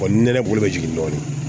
ni nɛnɛ bolo bɛ jigin dɔɔnin